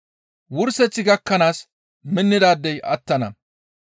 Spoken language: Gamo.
Wurseth gakkanaas minnidaadey attana.